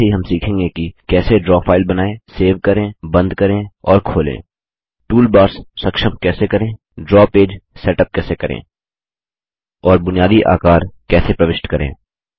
साथ ही हम सीखेंगे कि कैसे ड्रा फाइल बनाएँ सेव करें बंद करें और खोलें टूलबार्स सक्षम कैसे करें ड्रा पेज सेटअप कैसे करें और बुनियादी आकार कैसे प्रविष्ट करें